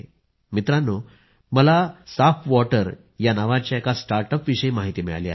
मित्रांनो मला साफवॉटर या नावाच्या एका स्टार्टअपविषयी माहिती मिळाली आहे